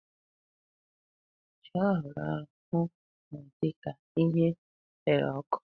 Ji a hụrụ ahụ na-adị ka ihe rere ọkụ.